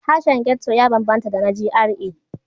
Harshen ghetto ya banbanta da na GRA.